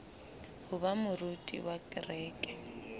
ho ba moruti wa kereke